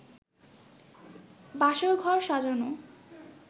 বাসর ঘর সাজানো